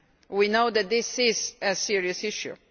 We know that this is a serious issue.